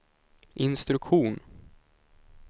instruktion